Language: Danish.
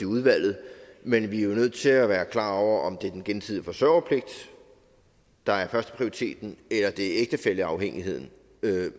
udvalget men vi er jo nødt til at være klar over om det er den gensidige forsørgerpligt der er førsteprioriteten eller om det er ægtefælleafhængigheden